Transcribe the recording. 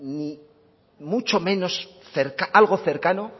mucho menos algo cercano